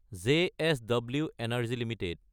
JSW energy Ltd